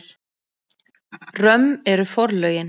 Römm eru forlögin.